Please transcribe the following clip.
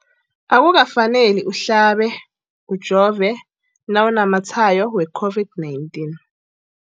Akuka faneli uhlabe, ujove nawu namatshayo we-COVID-19.